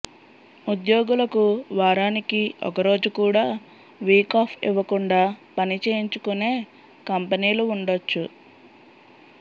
ఉద్యోగులకు వారానికి ఒకరోజు కూడా వీక్ ఆఫ్ ఇవ్వకుండా పని చేయించుకునే కంపెనీలు ఉండొచ్చు